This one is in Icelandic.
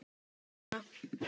Mamma gerði þetta alltaf svona.